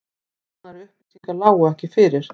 Nánari upplýsingar lágu ekki fyrir